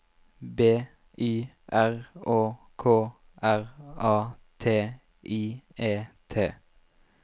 B Y R Å K R A T I E T